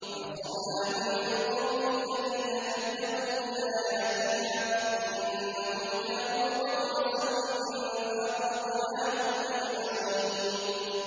وَنَصَرْنَاهُ مِنَ الْقَوْمِ الَّذِينَ كَذَّبُوا بِآيَاتِنَا ۚ إِنَّهُمْ كَانُوا قَوْمَ سَوْءٍ فَأَغْرَقْنَاهُمْ أَجْمَعِينَ